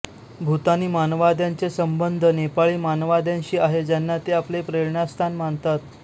भूतानी माववाद्यांचे संबंध नेपाळी माववाद्यांशी आहे ज्यांना ते आपले प्रेरणास्थान मानतात